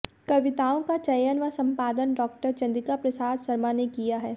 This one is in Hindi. कविताओं का चयन व सम्पादन डॉ॰ चन्द्रिकाप्रसाद शर्मा ने किया है